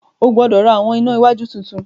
O gbọdọ rá awọn ìnà iwájú títún?